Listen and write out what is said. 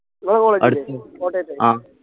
നിങ്ങളെ college ന്റെ കോട്ടയത്ത